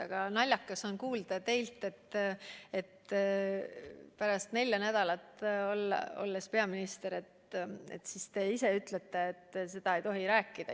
Aga naljakas on kuulda teilt, et ma pärast seda, kui ma olen neli nädalat peaminister olnud, seda ei tohi rääkida.